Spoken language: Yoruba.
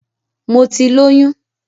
Mo ti lóyún